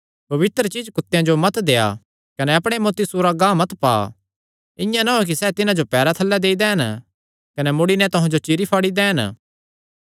पवित्र चीज्ज कुत्तेआं जो मत देआ कने अपणे मोती सूरां गांह मत पा इआं ना होयैं कि सैह़ तिन्हां जो पैरां थल्लैं देई दैंन कने मुड़ी नैं तुहां जो चिरीफाड़ी दैंन